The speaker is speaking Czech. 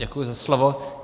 Děkuji za slovo.